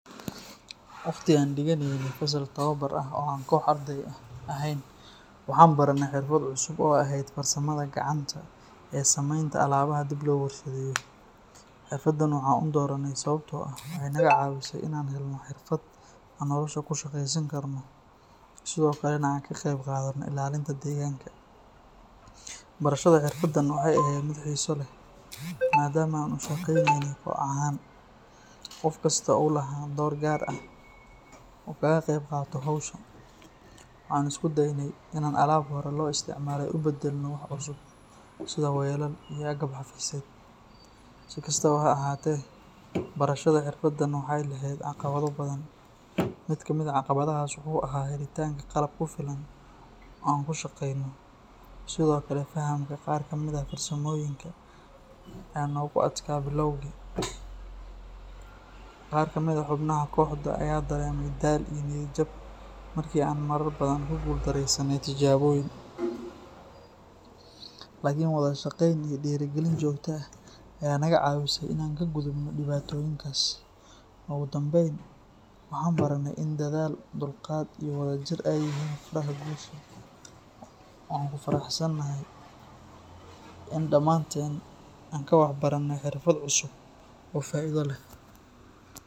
Waqti aan dhigeynay fasal tababar ah oo aan koox arday ah ahayn, waxaan baranay xirfad cusub oo ahayd farsamada gacanta ee samaynta alaabaha dib loo warshadeeyo. Xirfaddan waxaan u dooranay sababtoo ah waxay naga caawinaysay inaan helno xirfad aan nolosha ku shaqaysan karno, sidoo kalena aan ka qaybqaadano ilaalinta deegaanka. Barashada xirfaddan waxay ahayd mid xiiso leh maadaama aan u shaqaynaynay koox ahaan, qof kastana uu lahaa door gaar ah oo uu kaga qaybqaato hawsha. Waxaan isku daynay inaan alaab hore loo isticmaalay u beddelno wax cusub sida weelal iyo agab xafiiseed. Si kastaba ha ahaatee, barashada xirfaddan waxay lahayd caqabado badan. Mid ka mid ah caqabadahaas wuxuu ahaa helitaanka qalab ku filan oo aan ku shaqayno, sidoo kale fahamka qaar ka mid ah farsamooyinka ayaa aad noogu adkaa bilowgii. Qaar ka mid ah xubnaha kooxda ayaa dareemay daal iyo niyad jab markii aan marar badan ku guuldarreysanay tijaabooyin. Laakiin wada shaqayn iyo dhiirrigelin joogto ah ayaa naga caawisay inaan ka gudubno dhibaatooyinkaas. Ugu dambayn, waxaan baranay in dadaal, dulqaad iyo wadajir ay yihiin furaha guusha, waxaanan ku faraxsanaanay in dhammaanteen aan wax ka baranay xirfad cusub oo faa’iido leh.